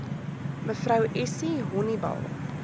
mev essie honiball